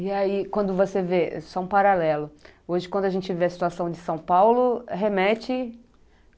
E aí, quando você vê, só um paralelo, hoje, quando a gente vê a situação de São Paulo, remete?